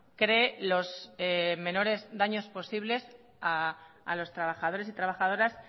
cree los menores daños posibles a los trabajadores y trabajadoras